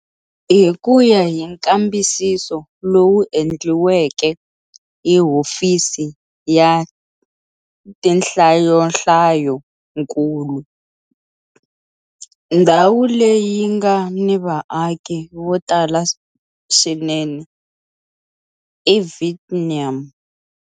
Hi ku ya hi nkambisiso lowu endliweke hi Hofisi ya Tinhlayohlayonkulu, ndhawu leyi nga ni vaaki vo tala swinene eVietnam.